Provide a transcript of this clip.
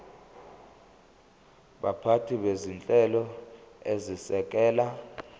baphathi bezinhlelo ezisekela